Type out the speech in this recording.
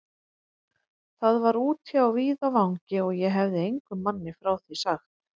Það var úti á víðavangi, og ég hefi engum manni frá því sagt.